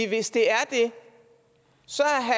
hvis det er det